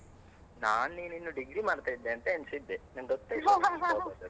ನಾನು ನೀನು ಇನ್ನೂ degree ಮಾಡ್ತಿದ್ದೆ ಅಂತ ಎನಿಸಿದ್ದೇ ನಂಗೆ ಗೊತ್ತೇ ಇಲ್ಲ ನಿಂಗೆ job ಆದದ್ದು.